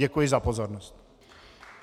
Děkuji za pozornost.